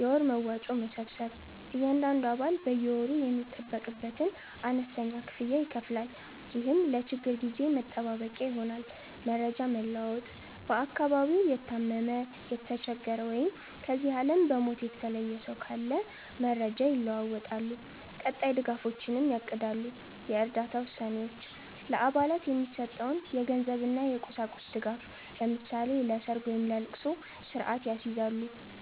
የወር መዋጮ መሰብሰብ፦ እያንዳንዱ አባል በየወሩ የሚጠበቅበትን አነስተኛ ክፍያ ይከፍላል፤ ይህም ለችግር ጊዜ መጠባበቂያ ይሆናል። መረጃ መለዋወጥ፦ በአካባቢው የታመመ፣ የተቸገረ ወይም ከዚህ ዓለም በሞት የተለየ ሰው ካለ መረጃ ይለዋወጣሉ፤ ቀጣይ ድጋፎችንም ያቅዳሉ። የእርዳታ ውሳኔዎች፦ ለአባላት የሚሰጠውን የገንዘብና የቁሳቁስ ድጋፍ (ለምሳሌ ለሰርግ ወይም ለልቅሶ) ስርአት ያስይዛሉ።